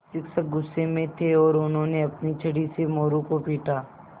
शिक्षक गुस्से में थे और उन्होंने अपनी छड़ी से मोरू को पीटा